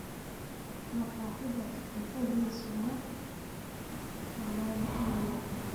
Maqaxidaas cuntadiisu ma dhadhaan macano